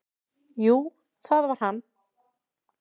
"""Jú, það var hann!"""